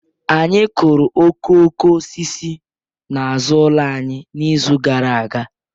Anyị kụrụ okooko osisi n'azụ ụlọ anyị n'izu gara aga